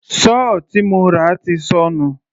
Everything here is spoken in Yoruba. Sọ́ọ̀ tí mo rà ti sọnù.